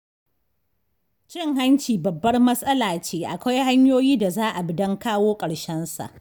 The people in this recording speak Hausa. Cin hanci babbar matsala ce akwai hanyoyi da za a bi don kawo ƙarshensa.